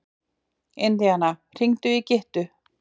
Indíana, hringdu í Gyttu.